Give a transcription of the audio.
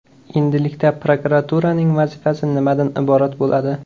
Endilikda prokuraturaning vazifasi nimadan iborat bo‘ladi?